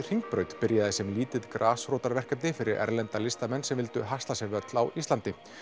Hringbraut byrjaði sem lítið grasrótarverkefni fyrir erlenda listamenn sem vildu haska sér völl á Íslandi